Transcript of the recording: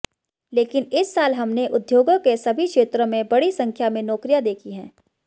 लेकिन इस साल हमने उद्योगों के सभी क्षेत्रों में बड़ी संख्या में नौकरियां देखी हैं